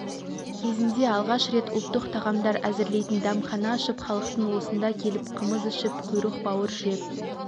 кезінде алғаш рет ұлттық тағамдар әзірлейтін дәмхана ашып халықтың осында келіп қымыз ішіп құйрық-бауыр жеп